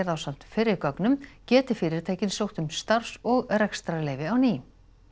ásamt fyrri gögnum geti fyrirtækin sótt um starfs og rekstrarleyfi á ný